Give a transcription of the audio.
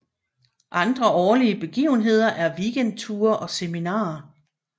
Andre årlige begivenheder er weekendture og seminarer